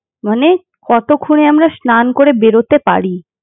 মানে কতক্ষনে আমরা স্নান করে বেড়োতে পারি।